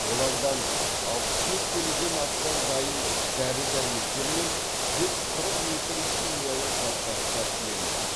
олардан алпыс бес келіден астам дайын дәрі дәрмектер мен жүз қырық литр химиялық заттар тәркіленді